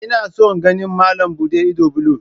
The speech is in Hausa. Ina son ganin malam buɗe ido blue